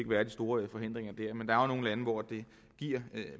være de store forhindringer men der er jo nogle lande hvor det giver